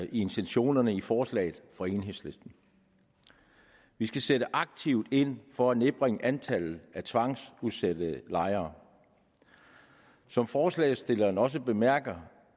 i intentionerne i forslaget fra enhedslisten vi skal sætte aktivt ind for at nedbringe antallet af tvangsudsatte lejere som forslagsstillerne også bemærker